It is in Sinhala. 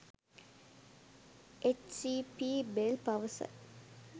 එච්.සී.පී.බෙල් පවසයි.